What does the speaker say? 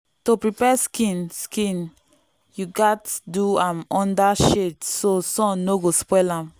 to prepare skin skin you gatz do am under shade so sun no go spoil am.